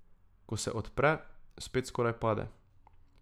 Ko se odpre, spet skoraj pade.